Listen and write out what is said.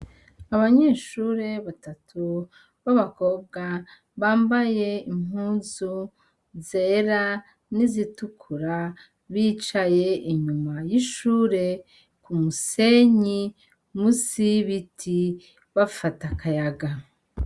Abanyeshuri batatu babakobwa bambaye impuzu zera n'izitukura bicaye inyuma y'ishuri ku musenyi munsi y'ibiti bafata akayaga.